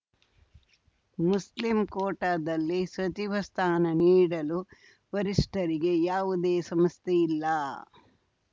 Muslim ಕೋಟಾದಲ್ಲಿ ಸಚಿವ ಸ್ಥಾನ ನೀಡಲು ವರಿಷ್ಠರಿಗೆ ಯಾವುದೇ ಸಮಸ್ಯೆ ಇಲ್ಲ